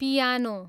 piano